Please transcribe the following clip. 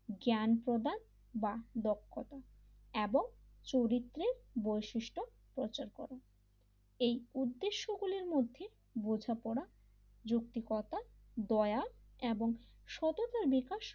জ্ঞান প্রদান বা দক্ষতা এবং চরিত্রের বৈশিষ্ট্য প্রচার করে এই উদ্দেশ্যগুলির মধ্যে বোঝাপড়া যৌক্তিকতা দয়া এবং সততার বিকাশ,